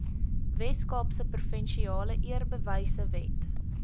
weskaapse provinsiale eerbewysewet